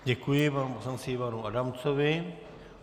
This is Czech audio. Děkuji panu poslanci Ivanu Adamcovi.